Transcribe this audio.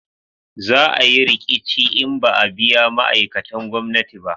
Za a yi riƙici in ba a biya ma'aikatan gwamnati ba